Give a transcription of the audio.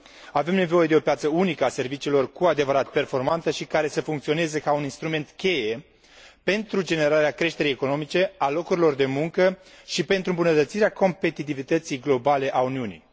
Avem nevoie de o piață unică a serviciilor cu adevărat performantă și care să funcționeze ca un instrument cheie pentru generarea creșterii economice și a locurilor de muncă și pentru îmbunătățirea competitivității globale a Uniunii.